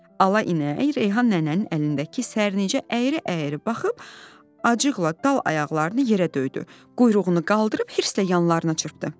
Ala inək Reyhan nənənin əlindəki sərnicə əyri-əyri baxıb acıqla dal ayaqlarını yerə döydü, quyruğunu qaldırıb hirslə yanlarına çırpdı.